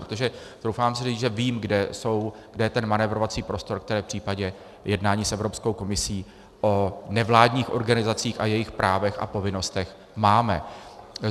Protože troufám si říct, že vím, kde je ten manévrovací prostor, který v případě jednání s Evropskou komisí o nevládních organizacích a jejích právech a povinnostech máme.